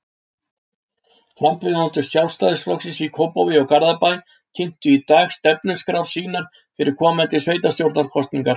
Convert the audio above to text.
Frambjóðendur Sjálfstæðisflokksins í Kópavogi og Garðabæ kynntu í dag stefnuskrár sínar fyrir komandi sveitastjórnarkosningar.